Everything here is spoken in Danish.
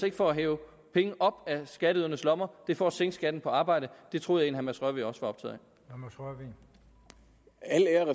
ikke for at hive penge op af skatteydernes lommer det er for at sænke skatten på arbejde det troede jeg mads rørvig også er optaget af